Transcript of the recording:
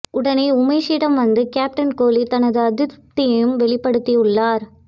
உடனே உமேஷிடம் வந்து கேப்டன் கோலி தனது அதிருப்தியையும் வெளிப்படுத்தியுள்ளார்